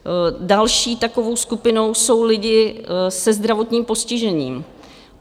Další takovou skupinou jsou lidi se zdravotním postižením.